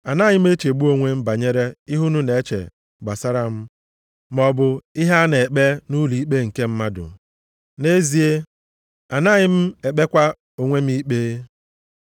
Anaghị m echegbu onwe m banyere ihe unu na-eche gbasara m maọbụ ihe a na-ekpe nʼụlọikpe nke mmadụ. Nʼezie, anaghị m ekpekwa onwe m ikpe.